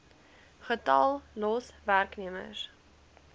getal los werknemers